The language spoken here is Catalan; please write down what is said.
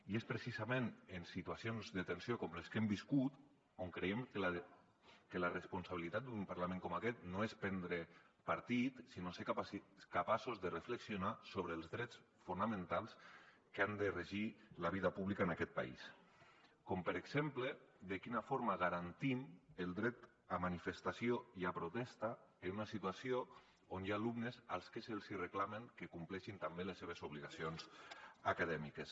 i és precisament en situacions de tensió com les que hem viscut on creiem que la responsabilitat d’un parlament com aquest no és prendre partit sinó ser capaços de reflexionar sobre els drets fonamentals que han de regir la vida pública en aquest país com per exemple de quina forma garantim el dret a manifestació i a protesta en una situació on hi ha alumnes als que se’ls reclama que compleixin també les seves obligacions acadèmiques